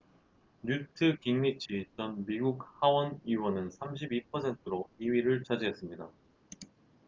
뉴트 깅리치 전 미국 하원 의원은 32%로 2위를 차지했습니다